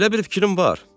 Elə bir fikrim var.